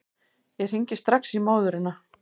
Ég hringi strax í móðurina.